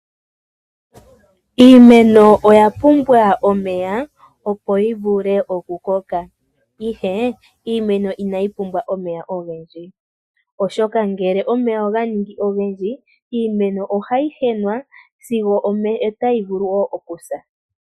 Iimeno oya pumbwa omeya, opo yi vule okukoka ihe iimeno inayi pumbwa omeya ogendji, oshoka ngele omeya oga ningi ogendji iimeno ohayi henwa sigo otayi vulu wo okusa.